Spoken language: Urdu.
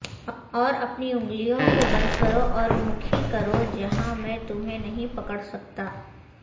اور اپنی انگلیوں کو بند کرو اور مکھی کرو جہاں میں تمہیں نہیں پکڑ سکتا